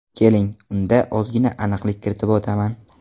Keling, unda ozgina aniqlik kiritib o‘taman.